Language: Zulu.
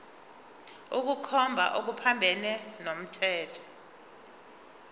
ukukhomba okuphambene nomthetho